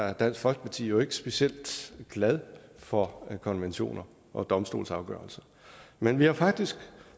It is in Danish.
er dansk folkeparti jo ikke specielt glade for konventioner og domstolsafgørelser men vi har faktisk